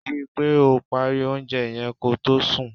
Rí i pé o parí oúnjẹ yẹn ko tó sùn.